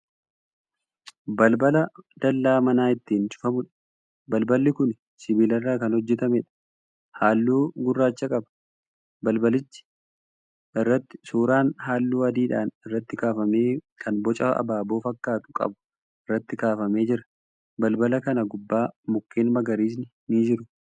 Balbala dallaa manaa itiin cufamuudha. Balballi kuni sibiilarraa kan hojjatameedha. Halluu gurraacha qaba. Balbalicha irratti suuraan halluu adiidhaan irraatti kaafamee kan boca abaaboo fakkaatu qabu irraatti kaafamee jira. Balbala kana gubbaa mukkeen magariisni ni jiru.